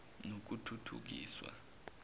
nokuthuthukiswa